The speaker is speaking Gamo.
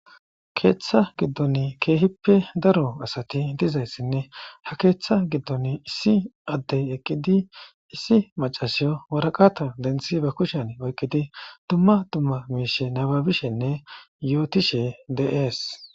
keeththa giddon keehippe daro asati dizayssinne ha keeththa giddon issi addey eqqidi issi macasiyo waraqata denthi ba kushen oyqqidi dumma dumma miishe nababishenne yootishe dees.